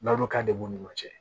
Ladonka de b'u ni ɲɔgɔn cɛ